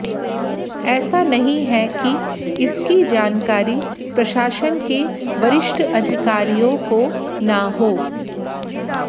ऐसा नहीं है कि इसकी जानकारी प्रशासन के वरिष्ठ अधिकारियों को न हो